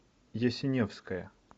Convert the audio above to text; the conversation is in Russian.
ясиневская